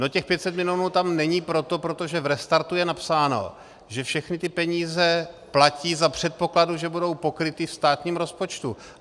No těch 500 milionů tam není proto, protože v restartu je napsáno, že všechny ty peníze platí za předpokladu, že budou pokryty ve státním rozpočtu.